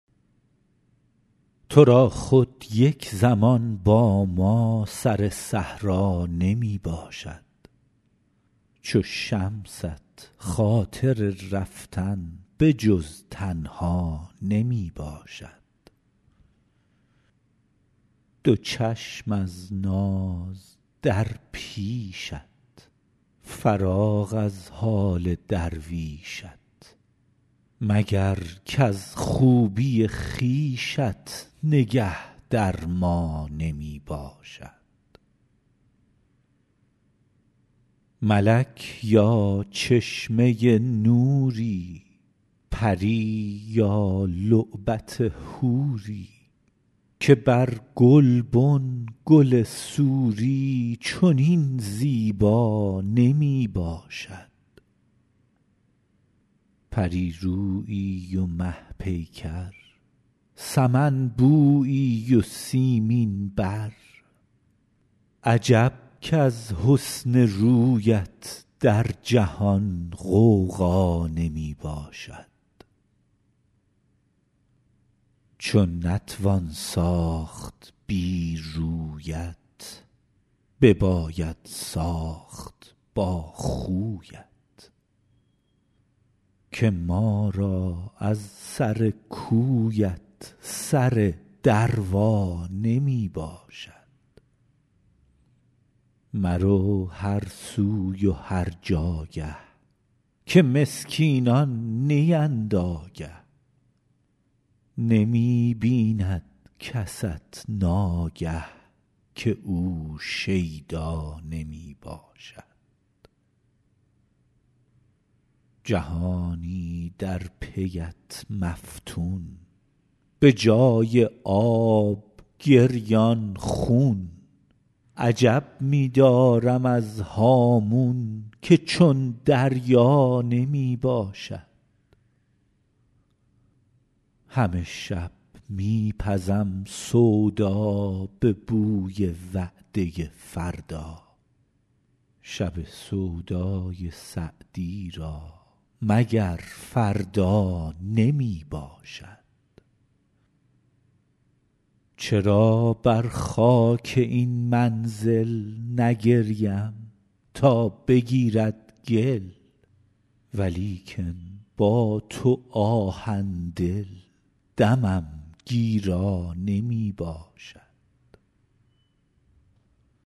تو را خود یک زمان با ما سر صحرا نمی باشد چو شمست خاطر رفتن به جز تنها نمی باشد دو چشم از ناز در پیشت فراغ از حال درویشت مگر کز خوبی خویشت نگه در ما نمی باشد ملک یا چشمه نوری پری یا لعبت حوری که بر گلبن گل سوری چنین زیبا نمی باشد پری رویی و مه پیکر سمن بویی و سیمین بر عجب کز حسن رویت در جهان غوغا نمی باشد چو نتوان ساخت بی رویت بباید ساخت با خویت که ما را از سر کویت سر دروا نمی باشد مرو هر سوی و هر جاگه که مسکینان نیند آگه نمی بیند کست ناگه که او شیدا نمی باشد جهانی در پی ات مفتون به جای آب گریان خون عجب می دارم از هامون که چون دریا نمی باشد همه شب می پزم سودا به بوی وعده فردا شب سودای سعدی را مگر فردا نمی باشد چرا بر خاک این منزل نگریم تا بگیرد گل ولیکن با تو آهن دل دمم گیرا نمی باشد